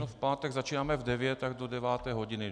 No v pátek začínáme v 9, tak do 9. hodiny.